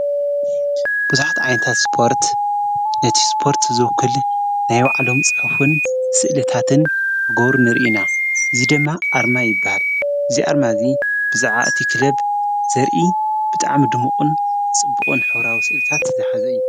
ብዙሓት ዓይነታት ስፖርት ነቲ ስጶርት ዘውክል ናይ ዋዕሎም ጽሑፉን ሥእልታትን ዞጐብሩ ንርኢና ዙይ ደማ ኣርማ ይበሃል እዚ ኣርማ እዙይ ብዛዓባ እቲ ኽለብ ዘርኢ ብጣዓሚ ድምቕን ጽብኦን ሕውራዊ ሥእልታት ዝሓዚ እዩ።